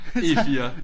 E 4